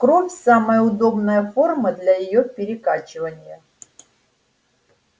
кровь самая удобная форма для её перекачивания